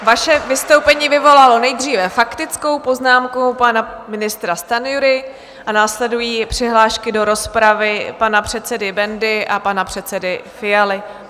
Vaše vystoupení vyvolalo nejdříve faktickou poznámku pana ministra Stanjury a následují přihlášky do rozpravy pana předsedy Bendy a pana předsedy Fialy.